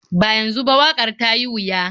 Ba yanzu ba, waƙar ta yi wuya.